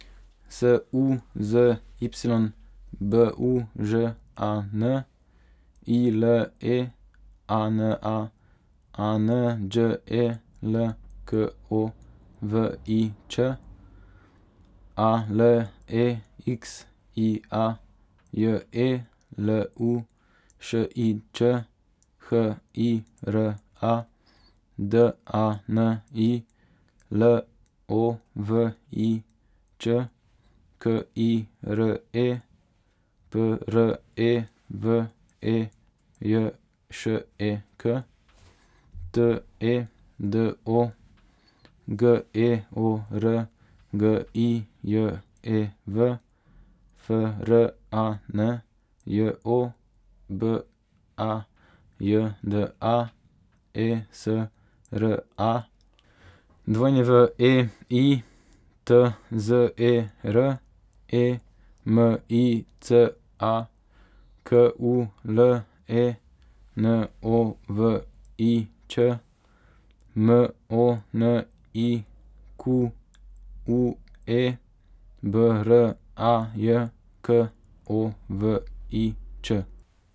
S U Z Y, B U Ž A N; I L E A N A, A N Đ E L K O V I Ć; A L E X I A, J E L U Š I Č; H I R A, D A N I L O V I Č; K I R E, P R E V E J Š E K; T E D O, G E O R G I J E V; F R A N J O, B A J D A; E S R A, W E I T Z E R; E M I C A, K U L E N O V I Ć; M O N I Q U E, B R A J K O V I Č.